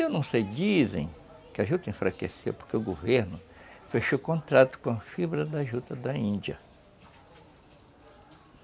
Eu não sei, dizem que a juta enfraqueceu porque o governo fechou o contrato com a fibra da juta da Índia.